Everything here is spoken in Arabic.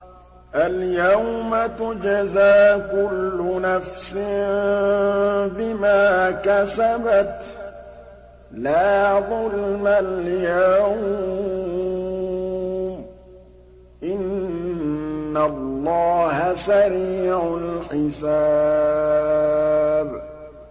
الْيَوْمَ تُجْزَىٰ كُلُّ نَفْسٍ بِمَا كَسَبَتْ ۚ لَا ظُلْمَ الْيَوْمَ ۚ إِنَّ اللَّهَ سَرِيعُ الْحِسَابِ